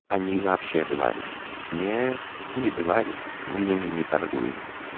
они вообще говорю нет не бывают моё имя не торгуем